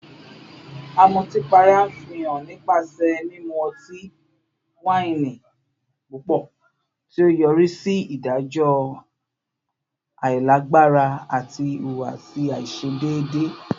Amutipara nfihan nipasẹ mimu ọti-waini pupọ, ti o yori si idajọ ailagbara ati ihuwasi aiṣedeede